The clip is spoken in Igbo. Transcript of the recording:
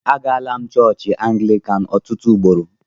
Agala m chọọchị Anglịkan ọtụtụ ugboro.